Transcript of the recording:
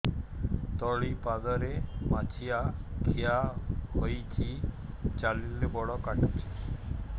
ତଳିପାଦରେ ମାଛିଆ ଖିଆ ହେଇଚି ଚାଲିଲେ ବଡ଼ କାଟୁଚି